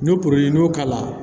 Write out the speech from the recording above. N'o porori n'o k'a la